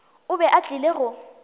o be a tlile go